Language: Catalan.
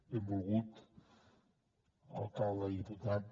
benvolgut alcalde i diputat